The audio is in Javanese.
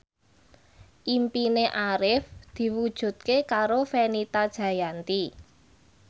impine Arif diwujudke karo Fenita Jayanti